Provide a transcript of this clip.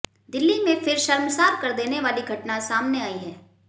दिल्ली में फिर शर्मसार कर देने वाली घटना सामने आई है